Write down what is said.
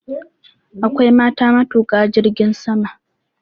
Akwai mata matuƙa jirgin sama.